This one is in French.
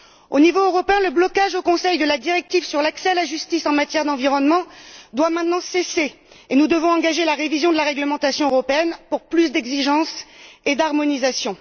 Au niveau européen, le blocage au Conseil de la directive sur l'accès à la justice en matière d'environnement doit maintenant cesser et nous devons engager la révision de la réglementation européenne pour plus d'exigence et d'harmonisation.